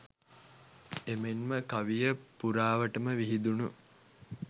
එමෙන්ම කවිය පුරාවටම විහිදුනු